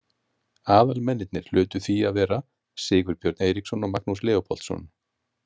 Aðalmennirnir hlutu því að vera Sigurbjörn Eiríksson og Magnús Leópoldsson.